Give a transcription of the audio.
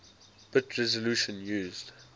bit resolution used